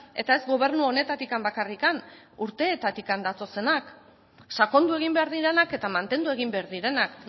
eta ez gobernu honetatik bakarrik urtetatik datozenak sakondu egin behar direnak eta mantendu egin behar direnak